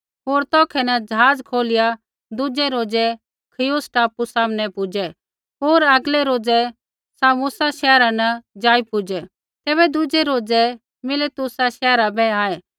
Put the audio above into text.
होर तौखै न ज़हाज़ खोलिया दुज़ै रोज़ै खियुस टापू सामनै पुजै होर आगलै रोज़ै सामुसा शैहरा न जाई पूजै़ तैबै दुज़ै रोज़ै मिलैतुसा शैहरा बै आऐ